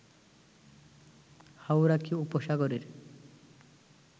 Hauraki উপসাগরের